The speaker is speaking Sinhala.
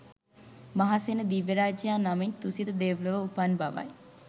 මහාසේන දිව්‍ය රාජයා නමින් තුසිත දෙව්ලොව උපන් බවයි